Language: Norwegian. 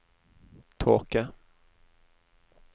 tåke